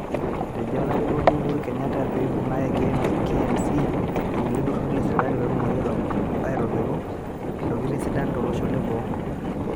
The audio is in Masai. Etejo Olarikoni Uhuru Kenyatta peibung'are KMC irkulie tururi lee sirkali petumoki aitobiru ntokiting' sidan too losho lee boo